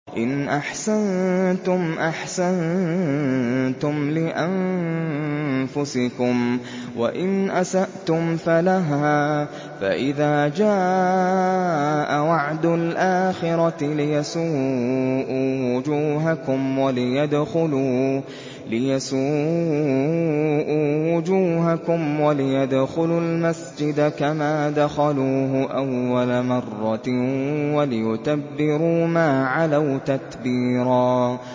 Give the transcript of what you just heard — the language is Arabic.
إِنْ أَحْسَنتُمْ أَحْسَنتُمْ لِأَنفُسِكُمْ ۖ وَإِنْ أَسَأْتُمْ فَلَهَا ۚ فَإِذَا جَاءَ وَعْدُ الْآخِرَةِ لِيَسُوءُوا وُجُوهَكُمْ وَلِيَدْخُلُوا الْمَسْجِدَ كَمَا دَخَلُوهُ أَوَّلَ مَرَّةٍ وَلِيُتَبِّرُوا مَا عَلَوْا تَتْبِيرًا